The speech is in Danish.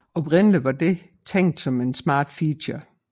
Oprindelig var dette tænkt som en smart feature